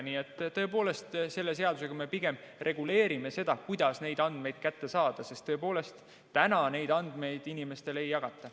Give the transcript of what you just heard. Nii et selle seadusega me pigem reguleerime seda, kuidas neid andmeid kätte saada, sest tõepoolest, täna neid andmeid inimestele ei jagata.